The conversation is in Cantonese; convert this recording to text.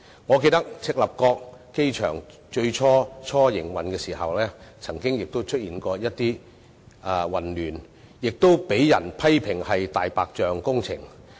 我記得赤鱲角機場在營運初期亦曾出現混亂，亦被批評為"大白象"工程。